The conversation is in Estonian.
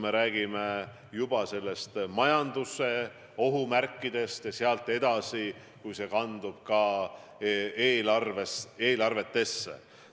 Me räägime juba majanduse ohumärkidest ja sellest, mis saab, kui see kandub edasi eelarvetesse.